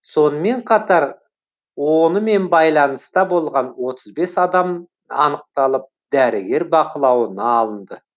сонымен қатар онымен байланыста болған отыз бес адам анықталып дәрігер бақылауына алынды